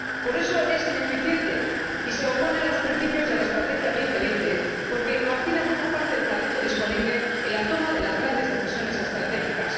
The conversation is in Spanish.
Por eso, es ineficiente y se opone a los principios de la Estrategia Europa 2020, porque margina a buena parte del talento disponible en la toma de las grandes decisiones estratégicas.